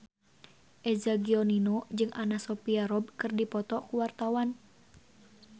Eza Gionino jeung Anna Sophia Robb keur dipoto ku wartawan